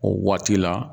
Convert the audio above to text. O waati la